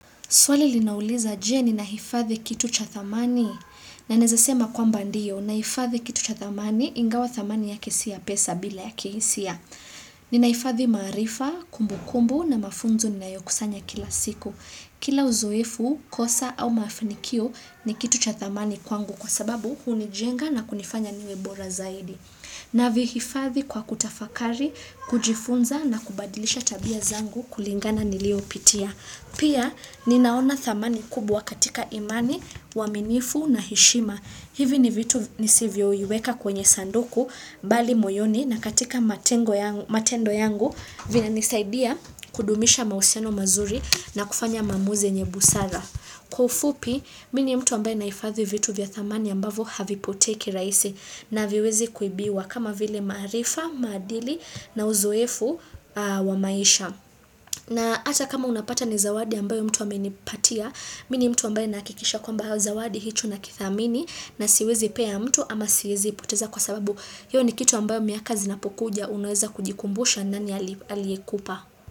Swali lina uliza je ni nahifadhi kitu cha thamani. Na nawezasema kwamba ndiyo, nahifadhi kitu cha thamani ingawa thamani yake si ya pesa balia ya kihisia. Ninaifadhi maarifa, kumbu kumbu na mafunzo ninayokusanya kila siku. Kila uzoefu, kosa au maafinikio ni kitu cha thamani kwangu kwa sababu hunijenga na kunifanya niwebora zaidi. Navihifadhi kwa kutafakari, kujifunza na kubadilisha tabia zangu kulingana niliyopitia. Pia ninaona thamani kubwa katika imani, uaminifu na hishima. Hivi ni vitu nisivyo viweka kwenye sanduku, bali moyoni na katika matendo yangu vina nisaidia kudumisha mahusiano mazuri na kufanya maamuzi yenye busara. Kwaufupi, mini mtu ambaye naifadhi vitu vya thamani ambavo havi potei kiraisi na haviwezi kuibiwa kama vile maarifa, maadili na uzoefu wa maisha. Na hata kama unapata ni zawadi ambayo mtu amenipatia, mimi ni mtu ambaye nahakikisha kwa ambaye zawadi hicho nakithamini na siwezi peya mtu ama siwezi ipoteza kwa sababu hiyo ni kitu ambayo miaka zinapokuja unweza kujikumbusha nani aliekupa.